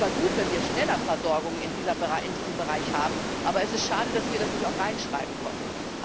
Es ist zwar gut, wenn wir schneller eine Versorgung in diesem Bereich haben, aber es ist schade, dass wir das nicht auch reinschreiben konnten.